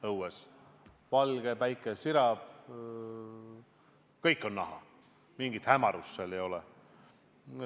Õues on valge, päike sirab, kõik on näha, mingit hämarust ei ole.